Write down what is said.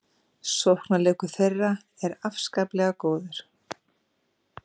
Sóknarleikur þeirra er afslappaður og góður